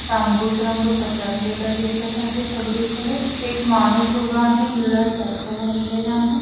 तांबूस रंग पसरलेला दिसत आहे सगळीकडे एक माणूस उभा आहे निळा शर्ट घातलेला आहे.